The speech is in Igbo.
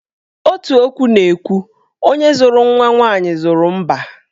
Otu okwu na-ekwu 'Onye zụrụ nwa nwaanyị, zụrụ mbá'.